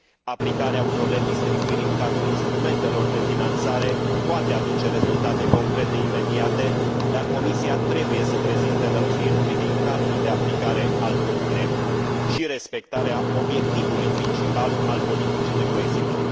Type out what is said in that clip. Aplicarea unor redistribuiri în cadrul instrumentelor de finanțare poate aduce rezultate concrete, imediate, dar Comisia trebuie să prezinte lămuriri privind cadrul de aplicare al propunerii și respectarea obiectivului principal al politicii de coeziune.